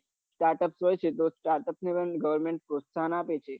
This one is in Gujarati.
startup હોય છે startup ને લઈને gorvenment પ્રોસાહન આપે છે